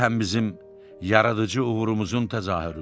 Bu həm bizim yaradıcı uğurumuzun təzahürüdür.